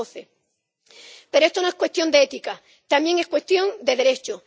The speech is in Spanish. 2012. Pero esto no es cuestión de ética, también es cuestión de derechos.